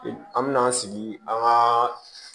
An mɛna an sigi an ga